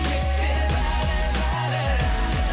есте бәрі бәрі